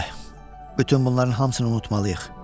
Bəlkə də bütün bunların hamısını unutmalıyıq.